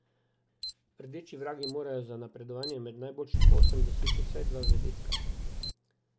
Rdeči vragi morajo za napredovanje med najboljših osem doseči vsaj dva zadetka.